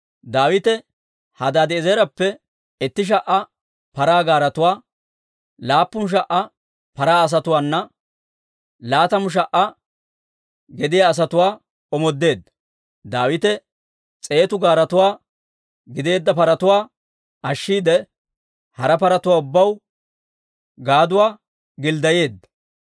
Daawite Hadaadi'eezereppe itti sha"a paraa gaaretuwaa, laappun sha"a paraa asatuwaanna laatamu sha"a gedissa asatuwaa omoodeedda. Daawite s'eetu gaaretoo gideedda paratuwaa ashshiide, hara paratuwaa ubbaw gaaduwaa gilddayeedda.